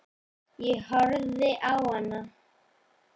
Ég horfði á hana.